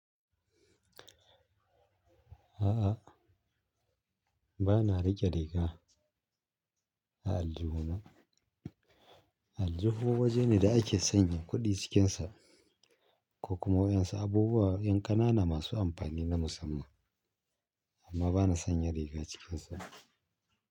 A'a, ba na riƙe riga a aljihuna. Aljihu waje ne da ake sanya kuɗi cikinsa ko kuma waɗansu abubuwa yan ƙanana masu amfani na musamman, amma ba na sanya riga cikinsa.